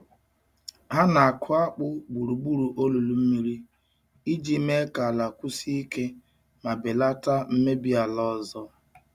Ha na-akụ akpu gburugburu olulu mmiri iji mee ka ala kwụsie ike ma belata mmebi ala ọzọ.